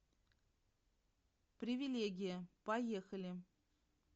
привилегия поехали